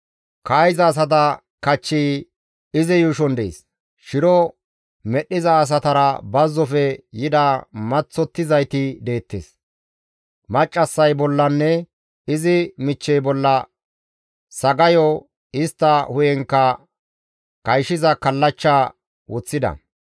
«Kaa7iza asata kachchi izi yuushon dees; shiro medhdhiza asatara bazzofe yida maththottizayti deettes; maccassay bollanne izi michchey bolla sagayo, istta hu7enkka kayshiza kallachcha woththida.